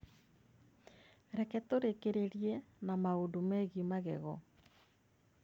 Reke tũrĩkĩrĩrie na maũndũ megiĩ magego